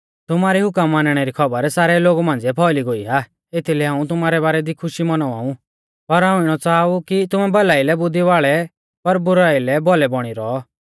तुमारी हुकम मानणै री खौबर सारै लोगु मांझ़िऐ फौइली गोई आ एथीलै हाऊं तुमारै बारै दी खुशी मौनावाउ पर हाऊं इणौ च़ाहा ऊ कि तुमै भलाईलै बुद्धि वाल़ै पर बुराई लै भोल़ै बौणी रौ